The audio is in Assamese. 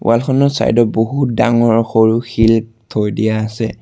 ৱাল খনৰ চাইড ট বহুত ডাঙৰ সৰু শিল থৈ দিয়া আছে।